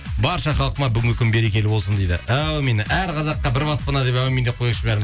барша халқыма бүгінгі күн берекелі болсын дейді әумин әр қазаққа бір баспана деп әумин деп қояйықшы